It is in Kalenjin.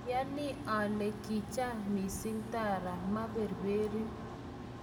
ayani ale kiicham mising' tara maiberberin